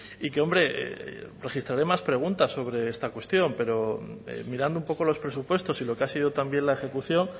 y que hombre registraré más preguntas sobre esta cuestión pero mirando un poco los presupuestos y lo que ha sido también la ejecución